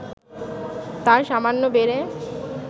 তা সামান্য বেড়ে